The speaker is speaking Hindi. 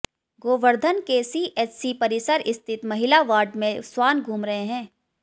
गोवर्धन के सीएचसी परिसर स्थित महिला वार्ड में स्वान घूम रहे हैं